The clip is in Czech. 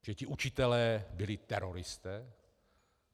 Že ti učitelé byli teroristé?